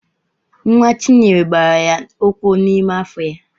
Nwa Chinyere gbara ya ụkwụ n'ime afọ ya.